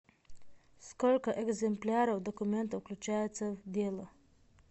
сколько экземпляров документов включается в дело